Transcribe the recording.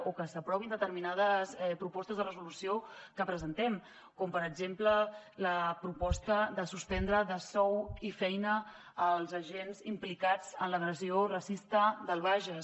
o que s’aprovin determinades propostes de resolució que presentem com per exemple la proposta de suspendre de sou i feina els agents implicats en l’agressió racista del bages